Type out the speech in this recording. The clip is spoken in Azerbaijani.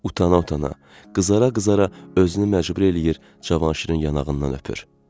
Uta-uta, qızara-qızara özünü məcbur eləyir, Cavanşirin yanağından öpür.